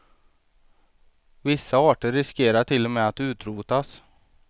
Vissa arter riskerar till och med att utrotas.